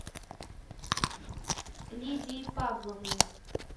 лидии павловне